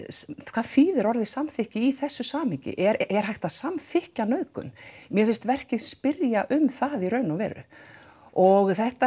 hvað þýðir orðið samþykki í þessu samhengi er hægt að samþykkja nauðgun mér finnst verkið spyrja um það í raun og veru og þetta